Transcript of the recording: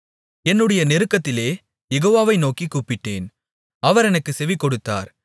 என்னுடைய நெருக்கத்திலே யெகோவாவை நோக்கிக் கூப்பிட்டேன் அவர் எனக்குச் செவிகொடுத்தார்